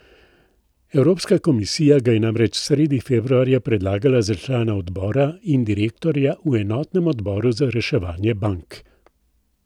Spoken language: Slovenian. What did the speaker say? Evropska komisija ga je namreč sredi februarja predlagala za člana odbora in direktorja v enotnem odboru za reševanje bank.